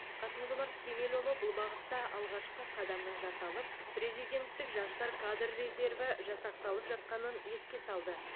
қасым жомарт кемелұлы бұл бағытта алғашқы қадамның жасалып президенттік жастар кадр резерві жасақталып жатқанын еске салды